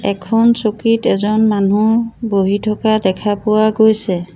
এখন চকীত এজন মানুহ বহি থকা দেখা পোৱা গৈছে।